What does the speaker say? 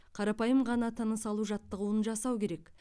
қарапайым ғана тыныс алу жаттығуын жасау керек